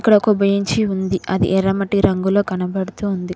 ఇక్కడ ఒక బెంచి ఉంది అది ఎర్ర మట్టి రంగులో కనబడుతూ ఉంది.